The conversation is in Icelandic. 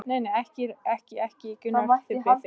Nei, nei, ekki, ekki, Gunnar, ég bið þig.